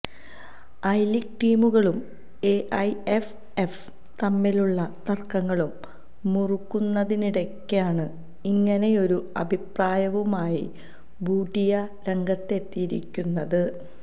I League ടീമുകളും എഐഎഫ്എഫും തമ്മിലുള്ള തർക്കങ്ങൾ മുറുകുന്നതിനിടയ്ക്കാണ് ഇങ്ങനെയൊരു അഭിപ്രായവുമായി ബൂട്ടിയ രംഗത്തെത്തിയിരിക്കുന്നത്